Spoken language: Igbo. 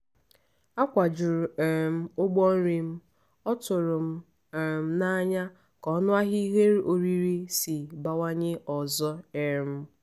akwajuru um m ụgbọ nri m ọ tụrụm um n'anya ka ọnụahịa ihe oriri si bawanye ọzọ um